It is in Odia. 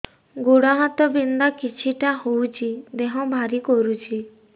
ଗୁଡ଼ ହାତ ବିନ୍ଧା ଛିଟିକା ହଉଚି ଦେହ ଭାରି କରୁଚି